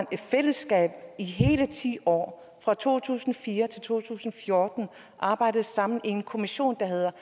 i fællesskab i hele ti år fra to tusind og fire til to tusind og fjorten arbejdede sammen i en kommission der hedder